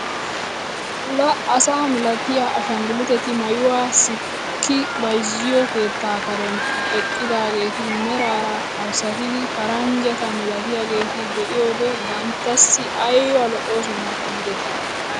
La asa milatiyaa ashanguluuteti maayuwaa sikki bayzziyo keettaa karen eqqidaageeti meraara arssatidi paranjjata milatiyaageta be'iyoode banttassi ayba lo"oosona giidetii etii!